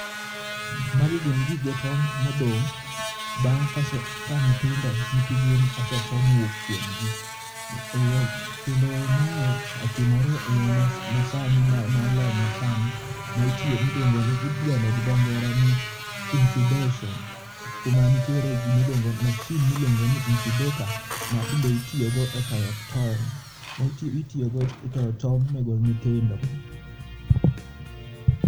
Magi gin gige tong modong bang ka nyithindo nyithi gwen ose too mowuok kuom gi kendo mae otimore e yo ma sani mar lony ma sani mi dendo gi dho ngere ni incubation kuma nitiere machine miluongo ni incubator ma tinde itiyo go e toyo tong ma itiyo go e toyo tong ne go nyithindo.